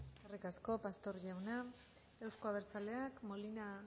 eskerrik asko pastor jauna euzko abertzaleak molina